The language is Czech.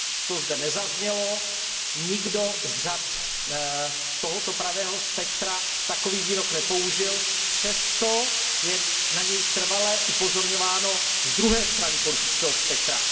To zde nezaznělo, nikdo z řad tohoto pravého spektra takový výrok nepoužil, přesto je na něj trvale upozorňováno z druhé strany politického spektra.